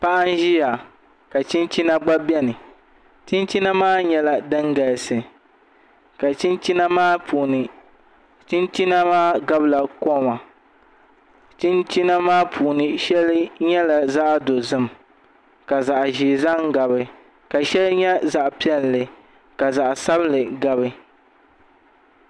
Paɣa n ʒiya ka chinchina gba biɛni chinchina maa nyɛla din galisi ka chinchina maa puuni chinchina maa gabila koma chinchina maa puuni shɛli nyɛla zaɣ dozim ka zaɣ ʒiɛ zaŋ gabi ka shɛli nyɛ zaɣ piɛlli ka zaɣ sabinli gabi